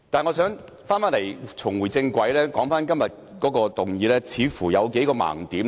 我只想立法會重回正軌，並指出今天這項議案的數個盲點。